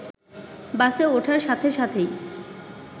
বাসে ওঠার সাথে সাথেই